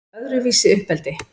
Öðruvísi uppeldi